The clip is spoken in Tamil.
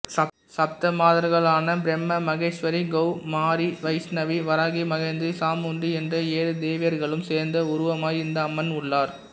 சப்தமாதர்களான பிராமிமகேஸ்வரிகௌமாரி வைஷ்ணவி வராகி மகேந்திரி சாமுண்டி என்ற ஏழு தேவியர்களும் சேர்ந்த உருவமாய் இந்த அம்மன் உள்ளார்